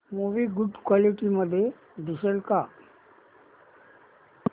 movie good quality मध्ये दिसेल का